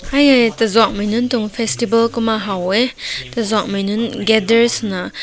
yeh yeh tazüank mainun tünk festival kumma ha weh tazüank mai nün gather suna.